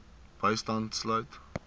bystand sluit